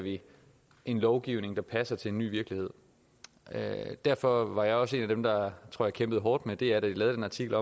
en lovgivning der passer til en ny virkelighed derfor var jeg også en af dem der kæmpede hårdt med dr da de lavede den artikel